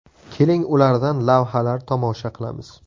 Keling, ulardan lavhalar tomosha qilamiz.